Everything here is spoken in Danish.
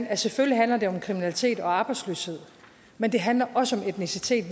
at selvfølgelig handler det om kriminalitet og arbejdsløshed men det handler også om etnicitet